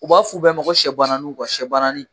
U b'a f'u bɛɛ ko siyɛ guwananu siyɛ guwananin